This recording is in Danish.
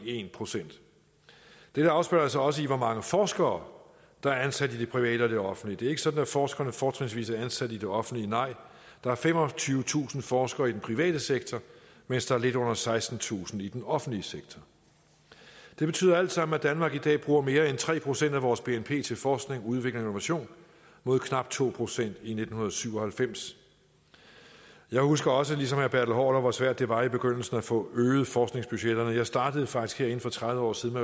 en procent dette afspejler sig også i hvor mange forskere der er ansat i det private og det offentlige det er ikke sådan at forskerne fortrinsvis er ansat i det offentlige nej der er femogtyvetusind forskere i den private sektor mens der er lidt under sekstentusind i den offentlige sektor det betyder alt sammen at danmark i dag bruger mere end tre procent af vores bnp til forskning udvikling og innovation mod knap to procent i nitten syv og halvfems jeg husker også ligesom haarder hvor svært det var i begyndelsen at få øget forskningsbudgetterne jeg startede faktisk herinde for tredive år siden